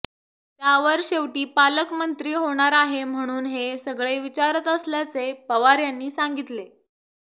त्यावर शेवटी पालकमंत्री होणार आहे म्हणून हे सगळे विचारत असल्याचे पवार यांनी सांगितले